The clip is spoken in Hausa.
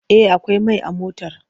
Eh akwai mai a motar!